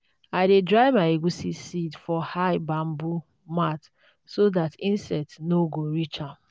i dey dry my egusi seeds for high bamboo mat so that insects no go reach am.